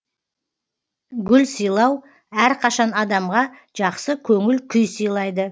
гүл сыйлау әрқашан адамға жақсы көңіл күй сыйлайды